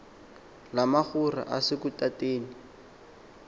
lamagora ase lutateni